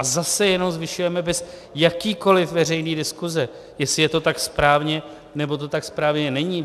A zase jenom zvyšujeme bez jakékoli veřejné diskuse, jestli je to tak správně, nebo to tak správně není.